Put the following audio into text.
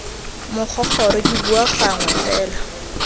mogogoro ke bua gangwe fela